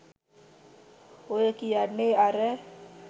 ඔය කියන්නේ අර